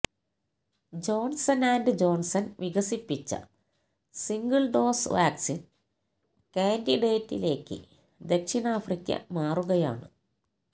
Johnson and Johnson വികസിപ്പിച്ച single dose vaccine കാൻഡിഡേറ്റിലേക്ക് ദക്ഷിണാഫ്രിക്ക മാറുകയാണ്